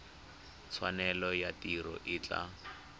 tshwanelo ya tiro e tla